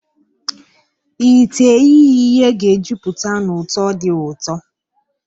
Ite ihee ihe ga-ejupụta na ụtọ dị ụtọ.